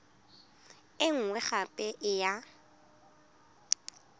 e nngwe gape e ya